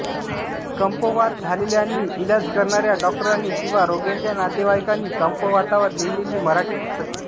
कंपवात झालेल्यांनी इलाज करणाऱ्या डॉक्टरांनी किंवा रोग्याच्या नातेवाईकांनी कंपवातावर लिहिलेली मराठी पुस्तके